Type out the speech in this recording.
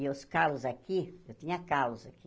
E os calos aqui, eu tinha calos aqui.